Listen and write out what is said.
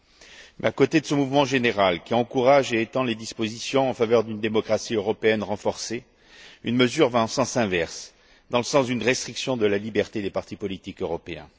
Mais à côté de ce mouvement général, qui encourage et étend les dispositions en faveur d'une démocratie européenne renforcée, une mesure va en sens inverse, dans le sens d'une restriction de la liberté des partis politiques européens.